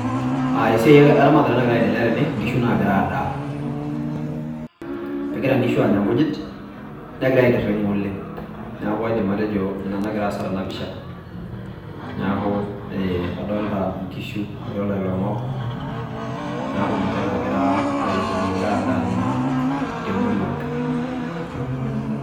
aa esiai eramatare nagira aendelea tene, nkishu nagira aadaa. egira inkishu aanya nkujit , negira aitiringa oleng ,niaku kaidim atejo ina nagira aas tena pisha , niaku adolta nkishu, adolta iloingok niaku ninche nagira itiringa egira adaa naa temurua.